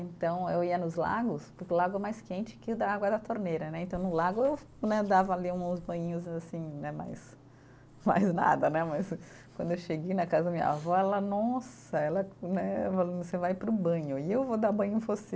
Então eu ia nos lagos, porque o lago é mais quente que o da água da torneira né, então no lago eu né, dava ali uns banhinhos assim né mais, mais nada né, mas quando eu cheguei na casa da minha avó, ela, nossa, ela né você vai para o banho, e eu vou dar banho em você.